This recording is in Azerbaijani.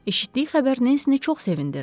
Eşitdiyi xəbər Nensi çox sevindirdi.